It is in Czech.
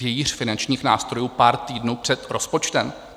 Vějíř finančních nástrojů pár týdnů před rozpočtem?